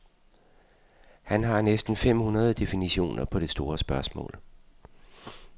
Han har næsten fem hundrede definitioner på det store spørgsmål.